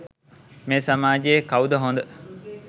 මේ සමාජයේ කවුද හොඳ?